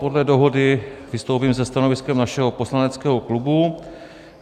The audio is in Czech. Podle dohody vystoupím se stanoviskem našeho poslaneckého klubu.